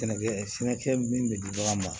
Sɛnɛkɛ sɛnɛkɛ min bɛ di ɲɔgɔn ma